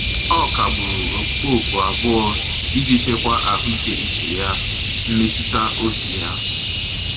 Ọ kagburu ọkpụkpọ oku abụọ iji chekwa ahụike uche ya mmetụtaobi ya.